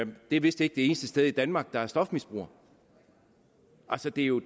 det er vist ikke det eneste sted i danmark der har stofmisbrugere altså det er jo